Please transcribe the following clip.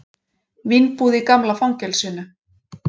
Vínbúð í gamla fangelsinu